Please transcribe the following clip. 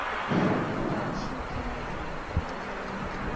আপনার একটা shifting ও থাকে তাই না যে অনেকসময় হচ্ছে